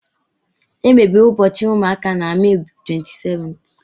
Emere ụbọchị ụmụaka na Mee 27th.